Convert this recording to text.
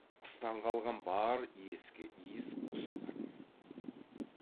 қыстан қалған бар ескі иіс осы болатын